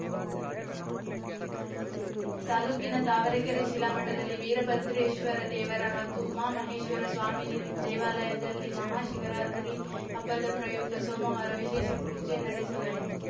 ತಾಲೂಕಿನ ತಾವರೆಕೆರೆ ಶಿಲಾ ಮಠದಲ್ಲಿ ವೀರಭದ್ರೇಶ್ವರ ದೇವರ ಮತ್ತು ಉಮಾ ಮಹೇಶ್ವರ ಸ್ವಾಮಿ ನೀ ದೇವಾಲಯದಲ್ಲಿ ಮಹಾ ಶಿವರಾತ್ರಿ ಹಬ್ಬದ ಪ್ರಯುಕ್ತ ಸೋಮವಾರ ವಿಶೇಷ ಪೂಜೆ ನಡೆಸಲಾಯಿತು